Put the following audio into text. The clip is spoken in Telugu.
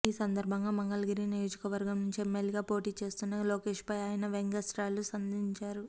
ఈ సందర్భంగా మంగళగిరి నియోజకవర్గం నుంచి ఎమ్మెల్యేగా పోటీ చేస్తున్న లోకేశ్ పై ఆయన వ్యంగ్యాస్త్రాలు సంధించారు